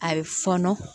A bɛ fɔɔnɔ